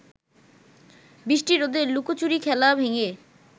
বৃষ্টি-রোদের লুকোচুরি খেলা ভেঙে